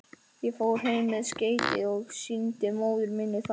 Ég fór heim með skeytið og sýndi móður minni það.